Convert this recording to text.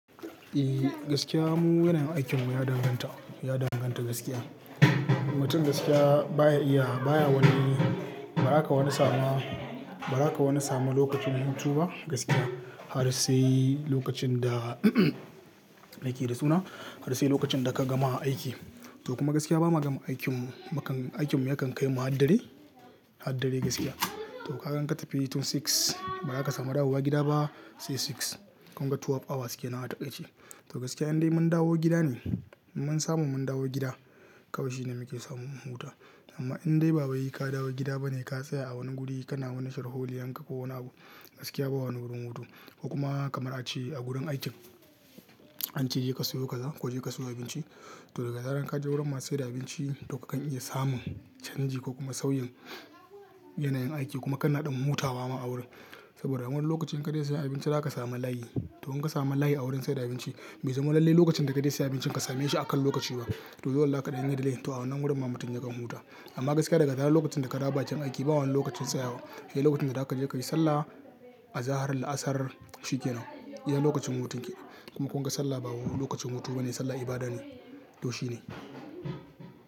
Eh gaskiya mun yanayin aikinmu ya danganta, ya danganta gaskiya. Mutum gaskiya baya iya baya wani, ba za ka wani samu a, ba za ka wani samu lokacin mutum ba gaskiya. Har sai lokacin da yake da suna, har sai lokacin da ka gama aiki. To kuma gaskiya bama gama aikin mu, makan aikin mu yakan kai mu a haddare, a haddare gaskiya. To kagan in tafi tun karfe shida na shafe, ba za ka samu dawowa gida ba sai shida na yamma. Kun ga awa sha biyu kenan a taƙaice. To gaskiya idan mun dawo gida ne, mun samu mun dawo gida, kawai shine muke samun mu huta amma idan dai babu yi ka dawo gida bane ka tsaya a wani guri kana wani sharhololi an ka ko wani abu, gaskiya babu wurin mutu. Kuma kamar a ce a gurin aikin, an ce je ka siyo kaza ko je ka siyo abinci. To daga zarar ka je wurin masu sayar da abinci to kakan iya samun canji ko kuma sauyin yanayin aiki kuma kana ɗan mutawa ma a wurin. Saboda a wani lokacin ka je sayi abinci za ka sami layi. To in ka samu layi a wurin sayar da abinci bai zama lalle lokacin da ka je sayi abinci ka same shi a kan lokaci ba. To dole zaka ɗan delay to a wannan wurin ma mutum ya dan mutu amma gaskiya daga zarar lokacin da ka raba cikin aiki babu wani lokacin tsayawa. Sai lokacin da za ka je ka yi sallah a zaharan la'asar shi kenan. Yana lokacin mutun ki kuma kun ga sallah ba wani lokacin mutuwa bane sallah ibada ne, to shi ne.